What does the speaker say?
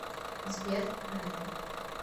сбер райан